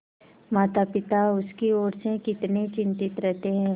मातापिता उसकी ओर से कितने चिंतित रहते हैं